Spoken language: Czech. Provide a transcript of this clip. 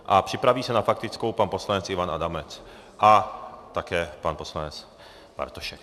A připraví se na faktickou pan poslanec Ivan Adamec a také pan poslanec Bartošek.